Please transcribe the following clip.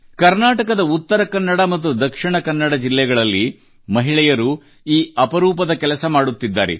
ಕರ್ನಾಟಕದ ಉತ್ತರ ಕನ್ನಡ ಮತ್ತು ದಕ್ಷಿಣ ಕನ್ನಡ ಜಿಲ್ಲೆಗಳಲ್ಲಿ ಮಹಿಳೆಯರು ಈ ಅಪರೂಪದ ಕೆಲಸ ಮಾಡುತ್ತಿದ್ದಾರೆ